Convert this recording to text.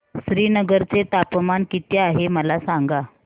श्रीनगर चे तापमान किती आहे मला सांगा